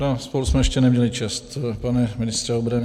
Á, spolu jsme ještě neměli čest, pane ministře obrany.